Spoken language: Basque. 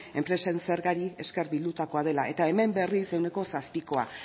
enpresen zergari ezker bilotakoa dela eta hemen berriz ehuneko zazpikoa